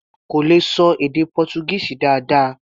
Kò lè ṣọ èdè Pọ́túgíìsì dáadáa.